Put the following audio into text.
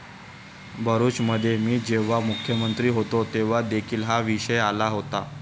भरुचमध्ये मी जेव्हा मुख्यमंत्री होतो तेव्हा देखील हा विषय आला होता.